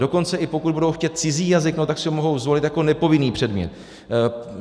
Dokonce i pokud budou chtít cizí jazyk, tak si ho mohou zvolit jako nepovinný předmět.